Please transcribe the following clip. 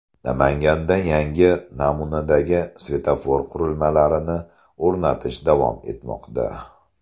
Namanganda yangi namunadagi svetofor qurilmalarini o‘rnatish davom etmoqda .